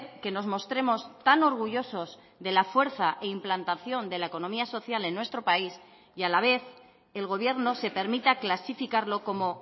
que nos mostremos tan orgullosos de la fuerza e implantación de la economía social en nuestro país y a la vez el gobierno se permita clasificarlo como